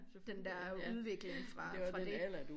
Den der udvikling fra fra dét